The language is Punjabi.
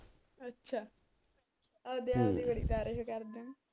ਅੱਛਾ ਆਪਦੇ ਆਪ ਦੀ ਬੜੀ ਤਾਰੀਫ ਕਰਦਾਂ ਏ